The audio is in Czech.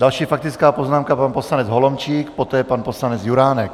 Další faktická poznámka, pan poslanec Holomčík, poté pan poslanec Juránek.